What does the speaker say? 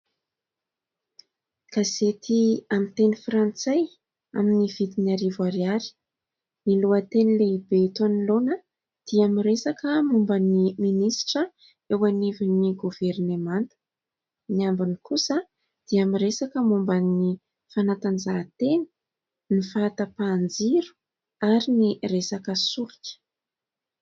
Gazety amin'ny teny frantsay, amin'ny vidiny arivo ariary. Ny lohateny lehibe eto anoloana dia miresaka momba ny Minisitra eo anivon'ny governemanta ; ny ambiny kosa dia miresaka momba ny fanatanjahantena, ny fahatapahan-jiro ary ny resaka solika.